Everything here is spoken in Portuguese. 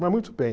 Mas muito bem.